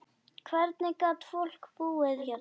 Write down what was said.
Hvernig gat fólk búið hérna?